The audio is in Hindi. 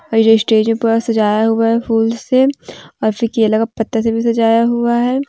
और ये जो स्टेज है पूरा सजाया हुआ है फूल से और फिर केला के पत्ता से भी सजाया हुआ है।